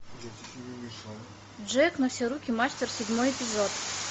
джек на все руки мастер седьмой эпизод